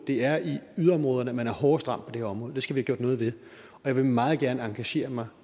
det er i yderområderne at man er hårdt ramt på det her område det skal vi have gjort noget ved og jeg vil meget gerne engagere mig